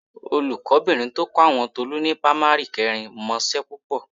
Olùkọ́bìnrin tó kọ́ àwọn Tolú ni pamari kẹrin mọṣẹ́ púpọ̀